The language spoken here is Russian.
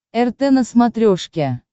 рт на смотрешке